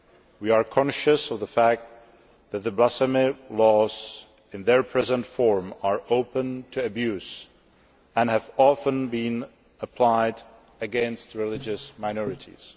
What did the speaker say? We are conscious of the fact that the blasphemy laws in their present form are open to abuse and have often been applied against religious minorities.